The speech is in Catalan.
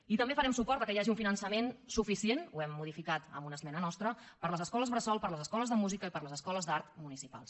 i també farem suport que hi hagi un finançament suficient ho he modificat amb una esmena nostra per a les escoles per a les escoles de música i per a les escoles d’art municipals